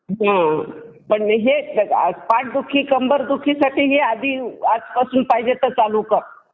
पण पाठदुखी कंबरदुखी साठी हे आधी आज पासून पाहिजे तर चालू कर.